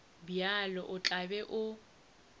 bjalo o tla be o